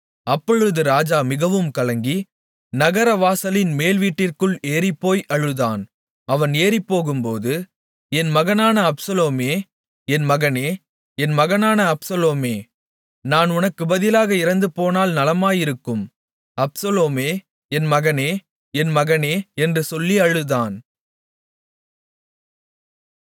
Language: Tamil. அப்பொழுது ராஜா மிகவும் கலங்கி நகர வாசலின் மேல்வீட்டிற்குள் ஏறிப்போய் அழுதான் அவன் ஏறிப்போகும்போது என் மகனான அப்சலோமே என் மகனே என் மகனான அப்சலோமே நான் உனக்குப் பதிலாக இறந்துபோனால் நலமாயிருக்கும் அப்சலோமே என் மகனே என் மகனே என்று சொல்லி அழுதான்